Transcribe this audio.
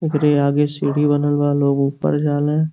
उकरे आगे सीढ़ी बनल बा। लोग ऊपर जाले।